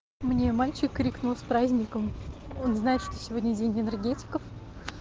мне мальчик крикнул с праздником он знает что сегодня день энергетиков